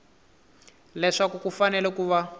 leswaku ku fanele ku va